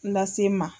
Lase n ma